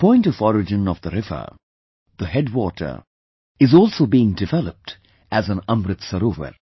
The point of origin of the river, the headwater is also being developed as an Amrit Sarovar